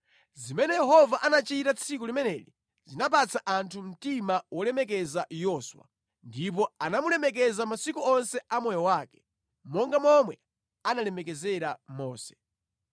Zimene Yehova anachita tsiku limeneli zinapatsa anthu mtima wolemekeza Yoswa. Ndipo anamulemekeza masiku onse a moyo wake, monga momwe analemekezera Mose.